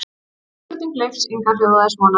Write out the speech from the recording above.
Spurning Leifs Inga hljóðaði svona: